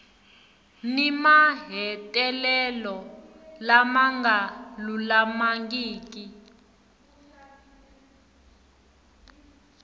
ni mahetelelo lama nga lulamangiki